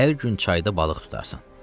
Hər gün çayda balıq tutarsan.